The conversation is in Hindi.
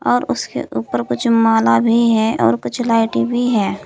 और उसके ऊपर कुछ माला भी है और कुछ लाइटे भी है।